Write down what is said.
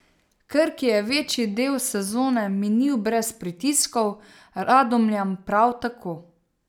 Krki je večji del sezone minil brez pritiskov, Radomljam prav tako.